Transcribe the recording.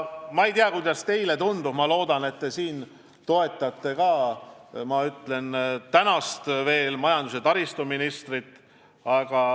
Ma ei tea, kuidas teile tundub, aga ma loodan, et te toetate viimase valitsuse majandus- ja taristuministrit.